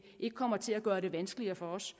ikke kommer til at gøre det vanskeligere for os